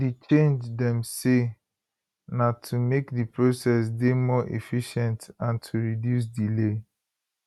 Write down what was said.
di change dem say na to make di process dey more efficient and to reduce delay